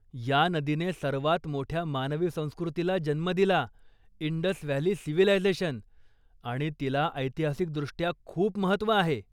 या नदीने सर्वात मोठ्या मानवी संस्कृतीला जन्म दिला, इंडस व्हॅली सिव्हिलायझेशन आणि तिला ऐतिहासिकदृष्ट्या खूप महत्व आहे.